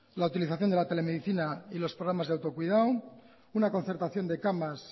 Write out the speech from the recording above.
la utilización de la telemedicina y los programas de autocuidado una concertación de camas